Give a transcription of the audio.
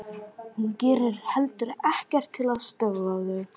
Hún gerir heldur ekkert til að stöðva þau.